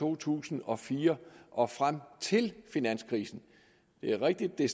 to tusind og fire og frem til finanskrisen det er rigtigt at